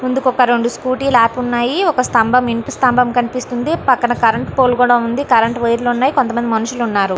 ముందుకి ఒక స్కూటీ లు ఆపి ఉన్నాయ్ ఒక స్తంభం ఇంటి స్తంభం కనిపిస్తుంది పక్కన కరెంటు పోల కూడా ఉంది కరెంటు వైర్ లు ఉన్నాయ్ కొంత మంది మనుసులున్నారు .